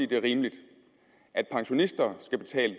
det er rimeligt at pensionister skal betale